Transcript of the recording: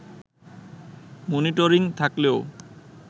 monitoring থাকলেও